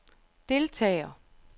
deltager